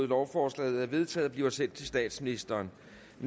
lovforslaget er vedtaget og bliver sendt til statsministeren